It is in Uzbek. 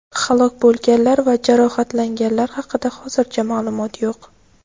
Halok bo‘lganlar va jarohatlanganlar haqida hozircha ma’lumot yo‘q.